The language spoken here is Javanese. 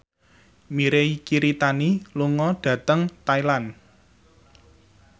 Mirei Kiritani lunga dhateng Thailand